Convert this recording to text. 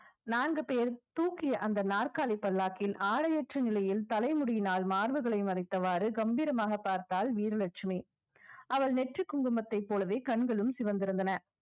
நான்கு பேர் தூக்கிய அந்த நாற்காலி பல்லாக்கில் ஆடையற்ற நிலையில் தலைமுடியினால் மார்புகளை மறைத்தவாறு கம்பீரமாக பார்த்தாள் வீரலட்சுமி அவள் நெற்றிக் குங்குமத்தைப் போலவே கண்களும் சிவந்திருந்தன